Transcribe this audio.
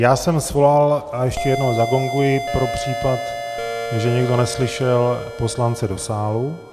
Já jsem svolal - a ještě jednou zagonguji pro případ, že někdo neslyšel - poslance do sálu.